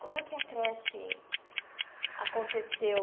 Como é que a creche aconteceu?